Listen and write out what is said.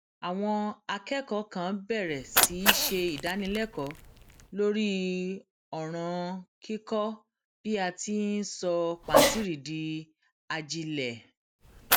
àwọn akékòó kan bèrè sí í ṣe ìdánilékòó lórí òràn kíkó bí a ti í sọ pàǹtírí di ajílẹ